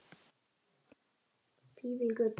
Fífilgötu